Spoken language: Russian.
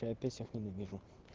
я опять всех ненавижу